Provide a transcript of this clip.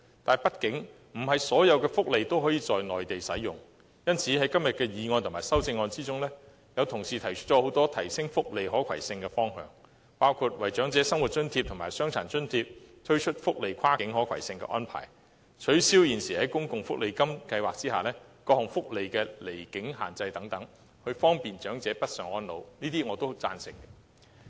但畢竟，不是所有福利都可以在內地使用，因此，在今天的議案及修正案中，有同事提出了很多提升福利可攜性的方向，包括：為長者生活津貼和傷殘津貼推出跨境可攜性安排，取消現時在公共福利金計劃下各項福利的離境限制，方便長者北上安老。